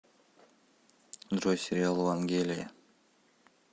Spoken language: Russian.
джой сериал вангелия